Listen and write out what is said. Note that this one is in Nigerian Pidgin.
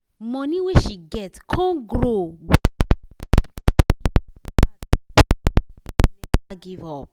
money wey she get come grow grow because of e hustle hard plus say e never give up